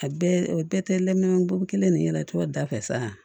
A bɛɛ o bɛɛ tɛ lɔgɔ kelen de ɲɛnatɔ da fɛ san